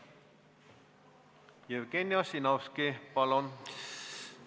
Jevgeni Ossinovski, palun!